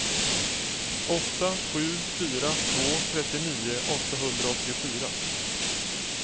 åtta sju fyra två trettionio åttahundraåttiofyra